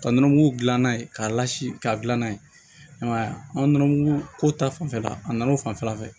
Ka nɔnɔmugu dilan n'a ye k'a lasi k'a dilan n'a ye i ma ya an ka nɔnɔmugu ko ta fanfɛla la a nana o fanfɛla fɛ